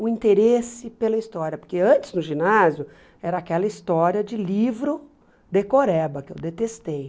o interesse pela história, porque antes, no ginásio, era aquela história de livro decoreba, que eu detestei.